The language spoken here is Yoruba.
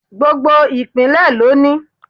Gbogbo ìpínlẹ̀ ló ní